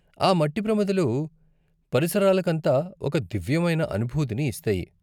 ఆ మట్టి ప్రమిదలు పరిసరాలకంతా ఒక దివ్యమైన అనుభూతిని ఇస్తాయి.